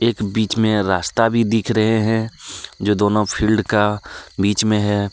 एक बीच में रास्ता भी दिख रहे हैं जो दोनों फील्ड का बीच में है।